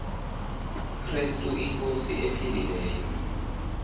krestu inkosi ephilileyo